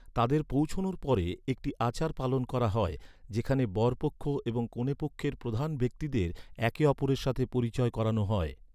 তাদের পৌঁছনোর পরে একটি আচার পালন করা হয় যেখানে বর পক্ষ এবং কনে পক্ষের প্রধান ব্যক্তিদের একে অপরের সাথে পরিচয় করানো হয়।